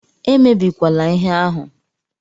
Emebikwala ihe ahụ!